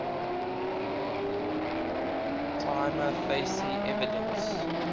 prima facie evidence